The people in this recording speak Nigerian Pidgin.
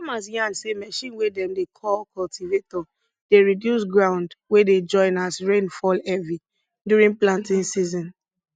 farmers yarn say machine wey dem dey call cultivator dey reduce ground wey dey join as rain fall heavy during planting season